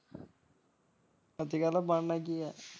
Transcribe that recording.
ਅਜ ਕਲ ਬਣਨਾ ਕੀ ਹੈ।